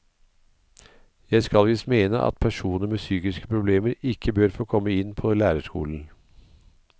Jeg skal visst mene at personer med psykiske problemer ikke bør få komme inn på lærerskolen.